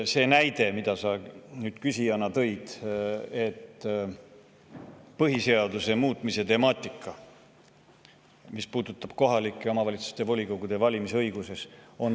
Sa tõid näite põhiseaduse muutmise temaatika kohta, mis puudutab kohalike omavalitsuste volikogude valimise õigust.